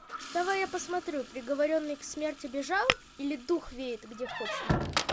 давай я посмотрю приговоренный к смерти бежал или дух веет где хочет